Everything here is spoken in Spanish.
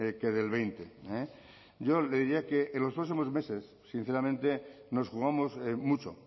que del veinte yo le diría que en los próximos meses sinceramente nos jugamos mucho